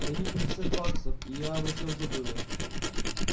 гони пятьдесят баксов и я обо всём забыла